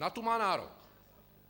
Na tu má nárok.